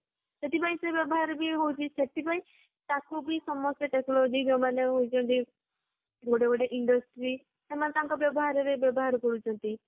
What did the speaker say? ସେଥିପାଇଁ ସେ ବ୍ୟବହାର ବି ହଉଛି ସେଥିପାଇଁ ତାକୁ ବି ସମସ୍ତେ technology ଯୋଊମାନେ ହାଉଛନ୍ତି ଗୋଟେ ଗୋଟେ industry ସେମାନେ ତାଙ୍କ ବ୍ୟବହାର ରେ ବ୍ୟବହାର କରୁଛନ୍ତି